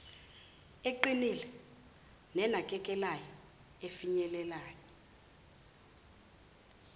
eqinile nenakekelayo efinyelela